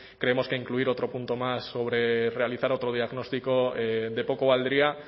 creemos que incluir otro punto más sobre realizar otro diagnóstico de poco valdría